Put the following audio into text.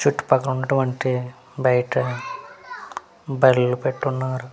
చుట్టు పక్కల ఉన్నటువంటి బైట బర్రెలు పెట్టున్నారు.